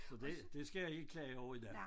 Så det det skal jeg ikke klage over i dag